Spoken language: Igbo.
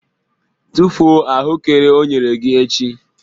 Tufuo ahụekere o nyere gị echi!